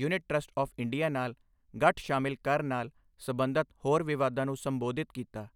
Unit trust of India ਨਾਲ ਗਠ ਸ਼ਾਮਿਲ ਕਰ ਨਾਲ ਸਬੰਧਤ ਹੋਰ ਵਿਵਾਦਾਂ ਨੂੰ ਸੰਬੋਧਿਤ ਕੀਤਾ।